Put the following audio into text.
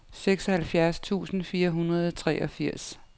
seksoghalvfjerds tusind fire hundrede og treogfirs